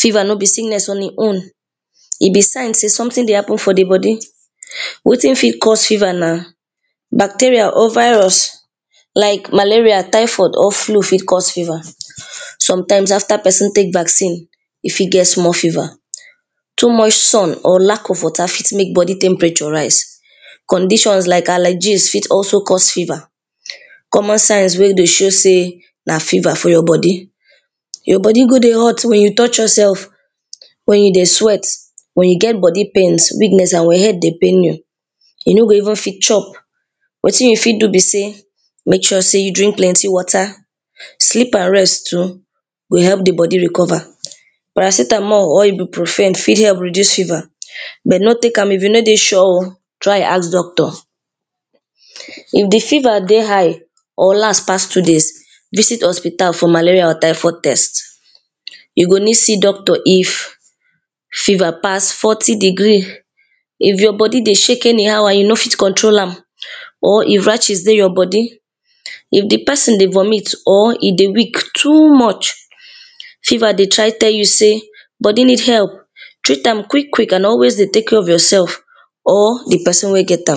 Fever no be sickness on e own E be sign sey something dey happen for di body. Wetin fit cause fever na bacteria or virus like malaria, typhoid or flue fit cause fever. Sometimes after person take vaccine e fit get small fever. Too much sun or lack of water fit make body temperature rise Conditions like alergies fit also cause fever. Common signs wey dey show sey na fever full your body, your body go dey hot wen you touch yourself wen you dey sweat, wen you get body pain, weakness and wen head dey pain you You no go even fit chop. Wetin you fit do be sey make sure sey you drink plenty water Sleep and rest too go help di body recover Paracetemol or Ibruprofen help reduce fever, but no take am if you no dey sure. Try ask doctor If di fever dey high or last pass two days, visit hospital for malaria or typhoid test You go need see doctor, if fever pass forty degree If you body dey shake anyhow and you no fit control am or if rashes dey your body if di person dey vomit, or e dey weak too much fever dey try tell you sey body need help,. Treat am quick quick and always dey take care of yourself or di person wey get am